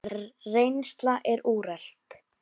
Reynsla er úrelt.